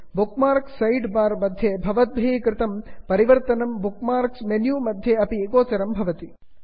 book marks side bar मध्ये भवद्भिः कृतं परिवर्तनं बुक् मार्क्स् मेन्यु मध्ये अपि गोचरं भवति